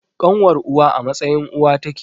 Ƙanwar uwa a matsayin uwa take